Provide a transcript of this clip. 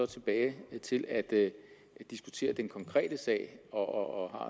tilbage til at diskutere den konkrete sag og